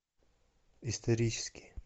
исторический